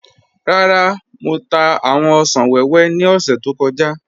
Rárá, Mọ̀ tà awọn òṣan wẹwẹ ni ọ̀ṣẹ̀ tó kọja.